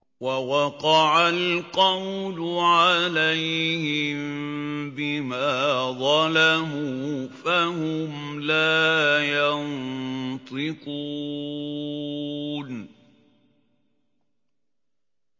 وَوَقَعَ الْقَوْلُ عَلَيْهِم بِمَا ظَلَمُوا فَهُمْ لَا يَنطِقُونَ